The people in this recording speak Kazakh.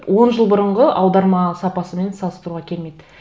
он жыл бұрынғы аударма сапасымен салыстыруға келмейді